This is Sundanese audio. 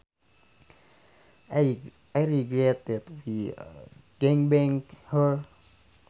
I regret that we gangbanged her